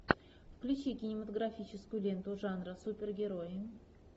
включи кинематографическую ленту жанра супергерои